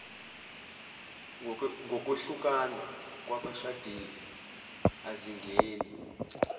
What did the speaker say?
ngokwehlukana kwabashadile azingeni